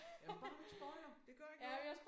Ja men bare du ikke spoiler det gør ikke noget